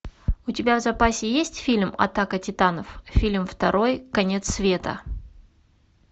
у тебя в запасе есть фильм атака титанов фильм второй конец света